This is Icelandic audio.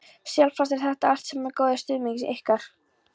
Sjálfsagt eru þetta allt saman góðir stuðningsmenn ykkar.